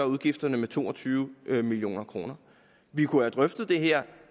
udgifterne med to og tyve million kroner vi kunne have drøftet det her